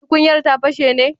Tukunyar ta fashe ne?